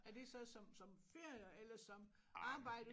Er det så som som ferier eller som arbejde